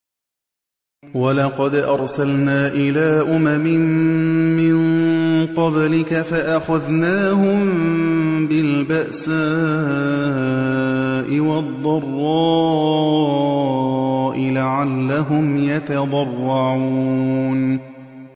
وَلَقَدْ أَرْسَلْنَا إِلَىٰ أُمَمٍ مِّن قَبْلِكَ فَأَخَذْنَاهُم بِالْبَأْسَاءِ وَالضَّرَّاءِ لَعَلَّهُمْ يَتَضَرَّعُونَ